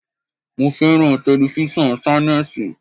Mo fẹ́ràn telifísàn Ṣánẹ́sì.